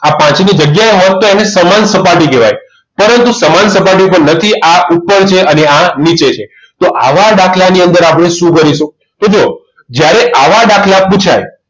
આ પાંચ ની જગ્યા હોય તો એને સમાન સપાટી કહેવાય પરંતુ સમાન સપાટી ઉપર નથી આ ઉપર છે અને આ નીચે છે તો આવા દાખલા ની અંદર આપણે શું કરીશું તો જુઓ જ્યારે આવા દાખલા પુછાય